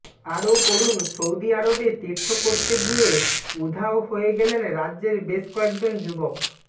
আরও পড়ুন সৌদি আরবে তীর্থ করতে গিয়ে উধাও হয়ে গেলেন রাজ্যের বেশ কয়েকজন যুবক